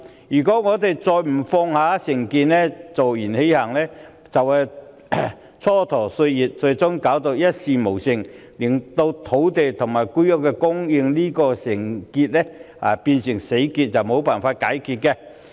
如果我們仍不放下成見，坐言起行，只會蹉跎歲月，最終一事無成，令土地和房屋供應問題變成死結，永遠無法解開。